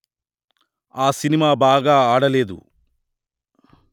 ఆ సినిమా బాగా ఆడలేదు